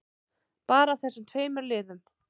Bara af þessum tveimur liðum.